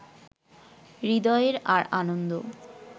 হৃদয়ের আর আনন্দ